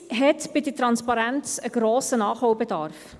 Die Schweiz hat bei der Transparenz einen grossen Nachholbedarf.